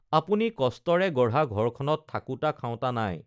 আপুনি কষ্টৰে গঢ়া ঘৰখনত থাকোতা খাওতা নাই